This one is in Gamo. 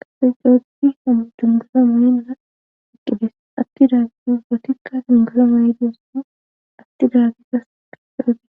qase xoodi hadungura mo7enana iqqides atti daagidu gotikka dingura maayidiyosne atti daagigas geferote.